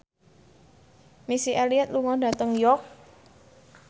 Missy Elliott lunga dhateng York